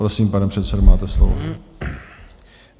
Prosím, pane předsedo, máte slovo.